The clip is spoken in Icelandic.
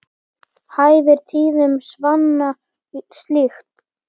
Hæfir tíðum svanna slík.